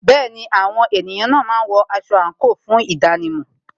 Àwọn ènìyàn máa ń wọ aṣọ àńkò fún ìdánimò